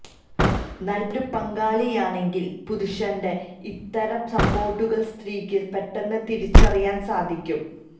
നല്ലൊരു പങ്കാളിയാണെങ്കില് പുരുഷന്റെ ഇത്തരം സ്പോട്ടുകള് സ്ത്രീയ്ക്ക് പെട്ടെന്ന് തിരിച്ചറിയാന് സാധിയ്ക്കും